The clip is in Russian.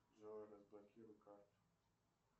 джой разблокируй карту